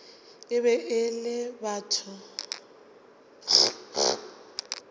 e be e le batho